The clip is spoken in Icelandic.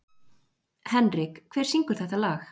Henrik, hver syngur þetta lag?